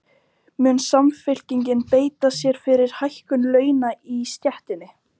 Mun Samfylkingin beita sér fyrir hækkun launa í stéttinni?